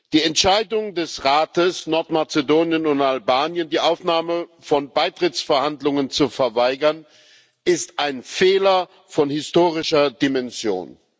Die Entscheidung des Rates, Nordmazedonien und Albanien die Aufnahme von Beitrittsverhandlungen zu verweigern, ist ein Fehler von historischer Dimension.